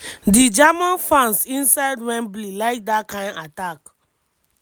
di german fans inside wembley like dt kain attack.